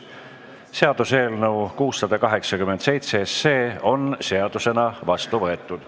Seaduseelnõu 687 on seadusena vastu võetud.